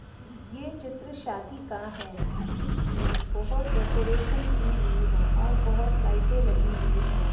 ये चित्र शादी का है जिसमें बहोत डेकोरेशन की हुई है और बहोत लाइटे लगी हुई हैं।